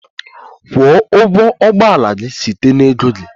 Kwụọ ụgwọ ụgbọ ala gị site na ego gị!